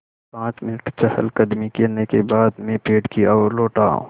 पाँच मिनट चहलकदमी करने के बाद मैं पेड़ की ओर लौटा